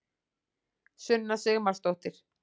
sunna sigmarsdóttir